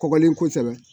Kɔkɔlen kosɛbɛ